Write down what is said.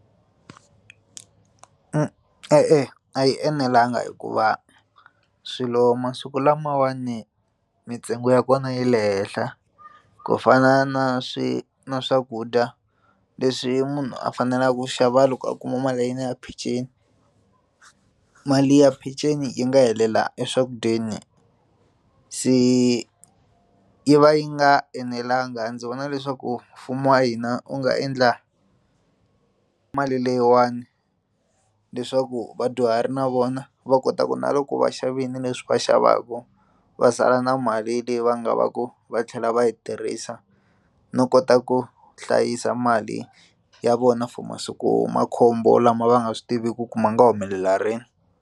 E-e, a yi enelangi hikuva swilo masiku lamawani mintsengo ya kona yi le henhla ku fana na swi na swakudya leswi munhu a faneleke ku xava loko a kuma mali ya yena ya peceni mali ya peceni yi nga helela eswakudyeni se yi va yi nga enelangi ndzi vona leswaku mfumo wa hina wu nga endla mali leyiwani leswaku vadyuhari na vona va kota ku na loko vaxavile leswi va xavaka va sala na mali leyi va nga va ku va tlhela va yi tirhisa no kota ku hlayisa mali ya vona for masiku makhombo lama va nga swi tiviku ku ma nga humelela rini.